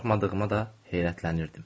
Qorxmadığıma da heyrətlənirdim.